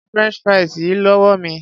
Gba french fries yìí lówó mi.